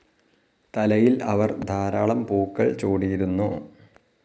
തലയിൽ അവർ ധാരാളം പൂക്കൾ ചൂടിയിരുന്നു.